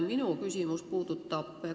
Minu küsimus on selline.